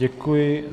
Děkuji.